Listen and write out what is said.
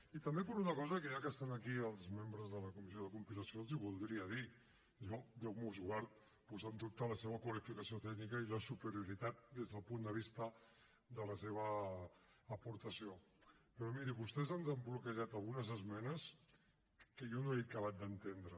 i també per una cosa que ja que estan aquí els membres de la comissió de compilació els voldria dir jo déu nos guard posar en dubte la seva qualificació tècnica i la superioritat des del punt de vista de la seva aportació però mirin vostès ens han bloquejat algunes esmenes que jo no he acabat d’entendre